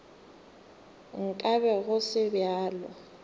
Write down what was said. nka be go se bjalo